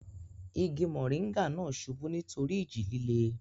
igi mọ̀nríngà náà subú nítorí ìjì líle